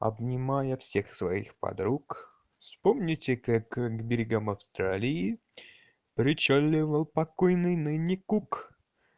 обнимая всех своих подруг вспомните как к берегам австралии причаливал покойный ныне кук